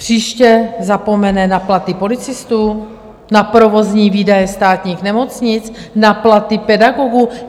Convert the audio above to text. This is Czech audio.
Příště zapomene na platy policistů, na provozní výdaje státních nemocnic, na platy pedagogů?